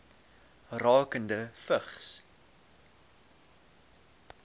rakende vigs